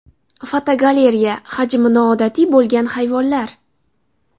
Fotogalereya: Hajmi noodatiy bo‘lgan hayvonlar.